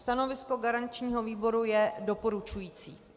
Stanovisko garančního výboru je doporučující.